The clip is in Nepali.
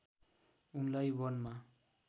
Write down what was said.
उनलाई वनमा